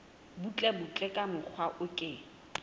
butlebutle ka mokgwa o ke